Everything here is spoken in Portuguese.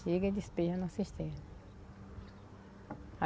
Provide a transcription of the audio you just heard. Chega e despeja na cisterna.